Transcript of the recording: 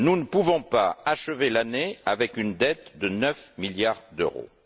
Nous ne pouvons pas achever l'année avec une dette de 9 milliards d'euros.